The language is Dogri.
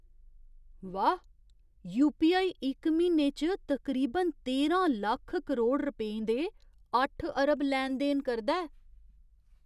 वाह् ! यू.पी.आई. इक म्हीने च तकरीबन तेह्रां लक्ख करोड़ रपेंऽ दे अट्ठ अरब लैन देन करदा ऐ।